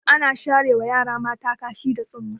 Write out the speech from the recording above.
Ana sharewa yara mata kashi da tsumma.